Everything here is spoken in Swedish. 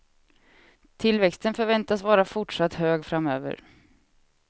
Tillväxten förväntas vara fortsatt hög framöver.